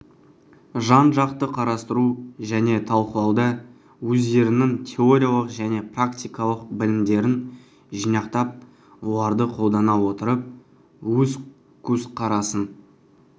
жан-жақты қарастыру және талқылауда өздерінің теориялық және практикалық білімдерін жинақтап оларды қолдана отырып өз көзқарасын